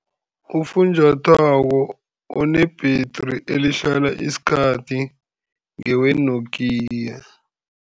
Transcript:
Ufunjathwako one-battery elihlala isikhathi ngewe-Nokia.